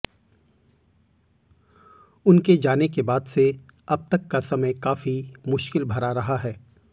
उनके जाने के बाद से अब तक का समय काफी मुश्किल भरा रहा है